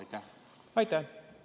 Aitäh!